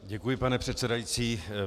Děkuji, pane předsedající.